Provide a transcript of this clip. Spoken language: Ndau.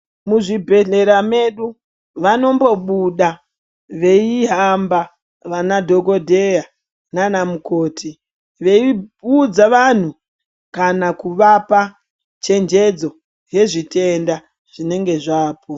Muzvibhedhlera medu, vanombobuda veyihamba vanadhokodheya nanamukoti, veyibudza vanhu kana kuvapa chenjedzo yezvitenda zvinenge zvapo.